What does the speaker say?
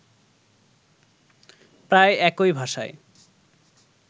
প্রায় একই ভাষায়